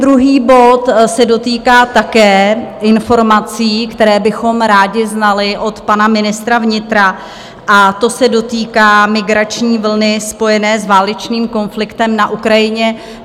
Druhý bod se dotýká také informací, které bychom rádi znali od pana ministra vnitra, a to se dotýká migrační vlny spojené s válečným konfliktem na Ukrajině.